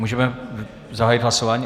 Můžeme zahájit hlasování?